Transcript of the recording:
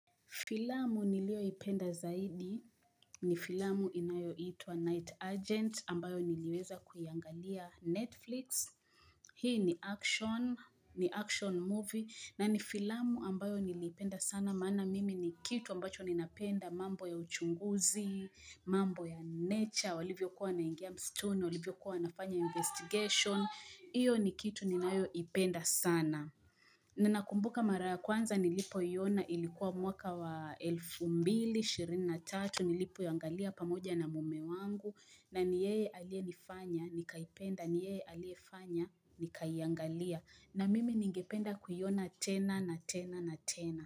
Filamu niliyoipenda zaidi ni filamu inayoitwa Night Agent ambayo niliweza kuiangalia Netflix. Hii ni action, ni action movie na ni filamu ambayo nilipenda sana. Maana mimi ni kitu ambacho ninapenda mambo ya uchunguzi, mambo ya nature, walivyokuwa wanaingia msituni, walivyo kuwa wanafanya investigation. Hiyo ni kitu ninayoipenda sana. Ninakumbuka mara kwanza nilipoiona ilikuwa mwaka wa elfu mbili ishirini tatu nilipoiangalia pamoja na mume wangu na ni yeye aliyenifanya nikaipenda ni yeye aliyefanya nikaiangalia na mimi ningependa kuiona tena na tena.